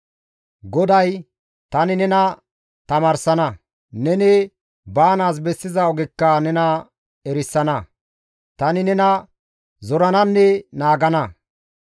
GODAY, «Tani nena tamaarsana; neni baanaas bessiza ogekka nena erisana; tani nena zorananne naagana.